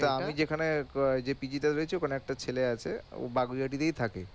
এটা আমি যেখানে যে রয়েছে ওখানে একটা ছেলে আছে ও তেই থাকে